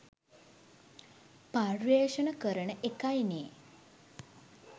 පර්යේෂණ කරන එකයි නේ